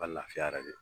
Ka lafiya yɛrɛ de